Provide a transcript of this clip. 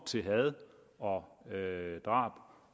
til had og drab